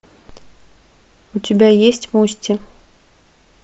у тебя есть мости